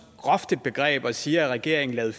groft et begreb og siger at regeringen lavede